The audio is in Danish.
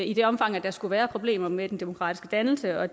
i det omfang der skulle være problemer med den demokratiske dannelse og